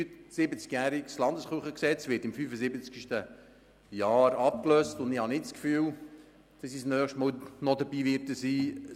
Das 73-jährige Gesetz über die bernischen Landeskirchen (Kirchengesetz, KG) wird im 75-sten Jahr abgelöst, und ich werde wohl das nächste Mal nicht dabei sein.